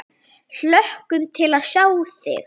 Hlökkum til að sjá þig!